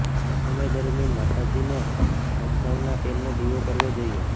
આ સમય દરમિયાન માતાજીને સરસવના તેલનો દીવો કરવો જોઈએ